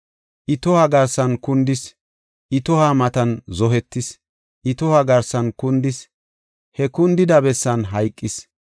I tohuwa garsan kundis; I tohuwa matan zohetis. I tohuwa garsan kundis; he kundida bessan hayqis.